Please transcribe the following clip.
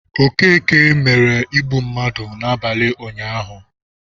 Okeke mere igbu mmadụ n'abalị ụnyahụ.